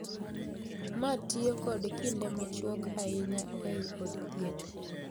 Matimyo kod kinde machuok ahinya ei od thieth.